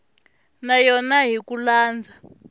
na yona hi ku landza